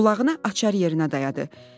Qulağına açar yerinə dayadı.